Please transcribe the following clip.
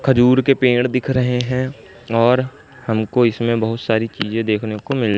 खजूर के पेड़ दिख रहे हैं और हमको इसमें बहुत सारी चीजें देखने को मिल--